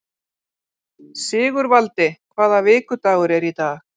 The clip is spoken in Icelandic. Sigurvaldi, hvaða vikudagur er í dag?